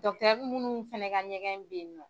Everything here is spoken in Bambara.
munnu fana ka ɲɛgɛn bɛyinɔ.